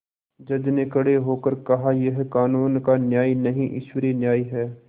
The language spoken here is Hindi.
जज ने खड़े होकर कहायह कानून का न्याय नहीं ईश्वरीय न्याय है